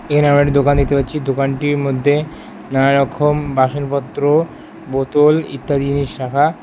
এখানে আমরা একটি দোকান দেখতে পাচ্ছি দোকানটির মধ্যে নানা রকম বাসনপত্র বোতল ইত্যাদি জিনিস রাখা।